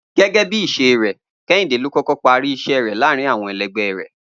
Gé̩gé̩ bí ìs̩e rè̩, Ké̩hìndé ló kó̩kó̩ parí ìs̩é̩ rè̩ láàárín àwo̩n e̩le̩gbé̩ rè̩